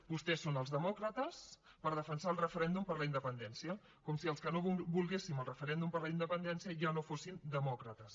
vostès són els demòcrates per defensar el referèndum per la independència com si els que no volguéssim el referèndum per la independència ja no fóssim demòcrates